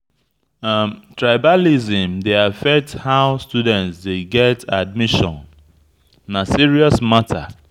Tribalism dey affect how students dey get admission; na serious matter.